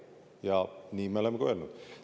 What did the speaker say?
Ja nii me oleme ka öelnud.